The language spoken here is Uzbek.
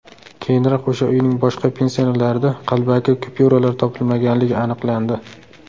Keyinroq o‘sha uyning boshqa pensionerlarida qalbaki kupyuralar topilmaganligi aniqlandi.